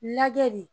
Lajɛ de